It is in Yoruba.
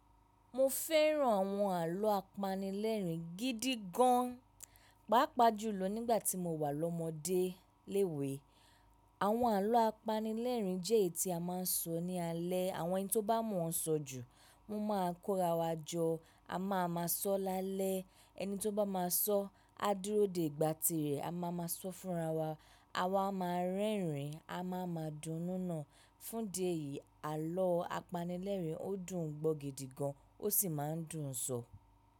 Mo fẹ́ràn àwọn àlọ́ apanilẹ́rìn gídí gan. Paapaa jùlọ nígbà tí mo wà lọ́mọdé léwé. Àwọn àlọ́ apanilẹ́rìn jẹ́ èyí tí a máa ń sọ ní alẹ́. Àwọn ẹni tó bá mọ̀ ọ́n sọ jù, wọ́n máa ń kóra wa jọ. A máa ma sọ́ láalẹ́. Ẹni tó bá máa sọ, á dúró dè ìgbà tirẹ̀, á máa ma sọ fúnra wa. A wa máa ń rẹ́rìn-ín, a máa ma dunnú náà. Fún de yìí, àlọ́ apanilẹ́rìn ó dùn gbọ́ gidi gan, ó sì máa ń dùn sọ.